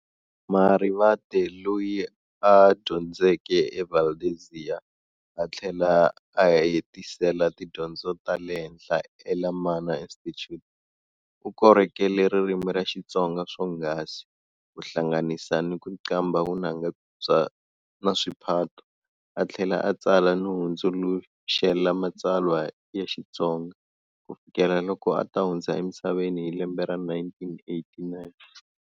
Marivate loyi a dyondzeke eValdezia, athlela aya hetisela tidyondzo tale henhla eLemana Institute, ukorhokele ririmi ra Xitsonga swonghasi, kuhlanganisa na kuqambha vunanga na swiphato, a thlela a tsala no hundzuluxela matsalwa ya Xitsonga, ku fikela loko ata hundza emisaveni hi lembe ra 1989.